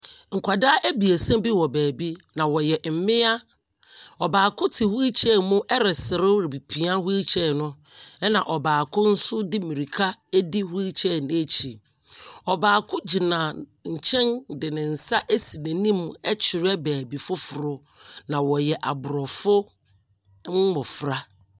Nkwadaa abiesa bi wɔ baabi. Na wɔyɛ mmea. Ɔbaako te wheel chair mu reserew redepia wheel chair no. Na ɔbaako nso de mmirika di wheel chair no akyi. Ɔbaako gyina nkyɛn de ne nsa asi n'anim ɛkyerɛ baabi fofor. Na wɔyɛ aborɔfo mmofra.